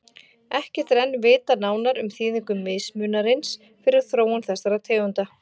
Ekkert er enn vitað nánar um þýðingu mismunarins fyrir þróun þessara tegunda.